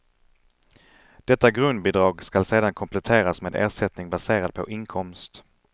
Detta grundbidrag skall sedan kompletteras med ersättning baserad på inkomst.